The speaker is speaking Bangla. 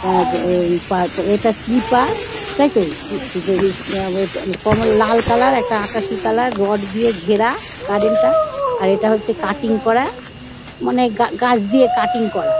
আ উম পপ ইটা স্লিপার তাইতো কোমল লাল কালার একটা আকাশি কালার রড দিয়ে ঘেরা গার্ডেন -টা আর এটা হচ্ছে কাটিং করা মানে গা গাছে কাটিং করা |